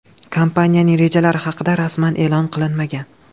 Kompaniyaning rejalari haqida rasman e’lon qilinmagan.